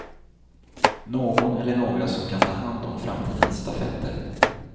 Någon eller några som kan ta hand om framtidens stafetter.